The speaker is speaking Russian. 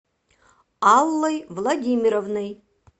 аллой владимировной